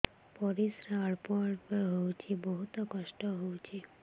ପରିଶ୍ରା ଅଳ୍ପ ଅଳ୍ପ ହଉଚି ବହୁତ କଷ୍ଟ ହଉଚି